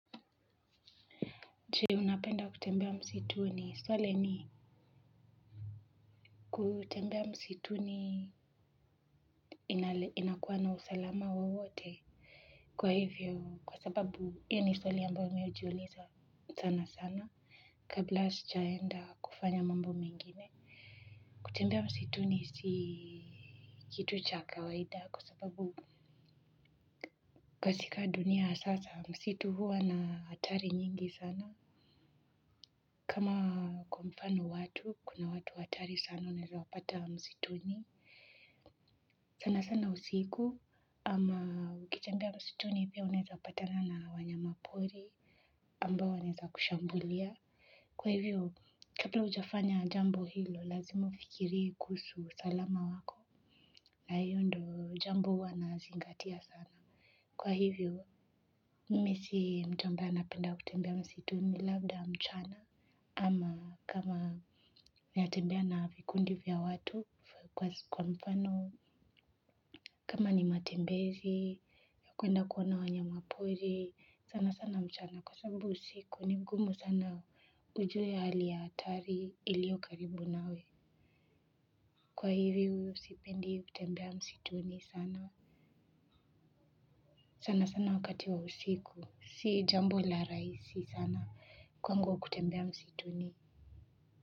Je unapenda kutembea msituni swali ni kutembea msituni inakuwa na usalama wowote kwa hivyo kwa sababu pia ni swali ambayo mimi hujiuliza sana sana kabla sijaenda kufanya mambo mengine kutembea msituni si kitu cha kawaida kwa sababu katika dunia ya sasa msitu huwa na hatari nyingi sana kama kwa mfano watu kuna watu hatari sana unaezawapata msituni sana sana usiku ama ukitembea msituni pia unaeza patana na wanyama pori ambao wanaeza kushambulia. Kwa hivyo, kabla ujafanya jambo hilo lazimu ufikirie kuhusu usalama wako. Na hiyo ndo jambo huwana zingatia sana. Kwa hivyo, mimi si mtu ambaye anapenda kutembea msituni labda mchana ama kama natembea na vikundi vya watu kwa mfano. Kama ni matembezi, ya kuenda kuona wanyama pori, sana sana mchana kwa sababu usiku ni mgumu sana ujue hali ya hatari ilio karibu nawe. Kwa hivi husipendi kutembea msituni sana. Sana sana wakati wa usiku, si jambo la raisi sana kwangu kutembea msituni.